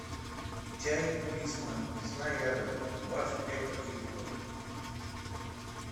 чай лисма лесная ягода двадцать пять пакетиков